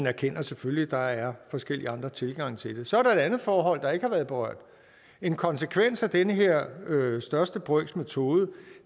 erkender selvfølgelig at der er forskellige andre tilgange til det så er der et andet forhold der ikke har været berørt en konsekvens af den her største brøks metode